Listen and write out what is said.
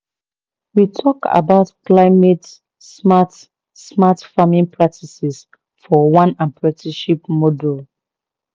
we talk about climate smart smart farming practices for one apprenticeship module